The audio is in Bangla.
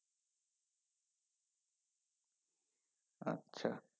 আচ্ছা।